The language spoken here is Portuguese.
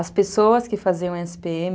As pessoas que faziam esse pê eme